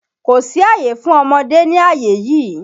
Kò sí àyè fún ọmọdé ní àyè yí!